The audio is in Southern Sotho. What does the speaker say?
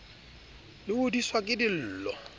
le hodiswa le ke dillo